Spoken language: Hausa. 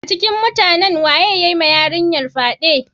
A cikin mutanen wa ya yiwa yarinyar fyade?